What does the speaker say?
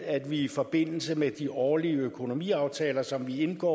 at vi i forbindelse med de årlige økonomiaftaler som vi indgår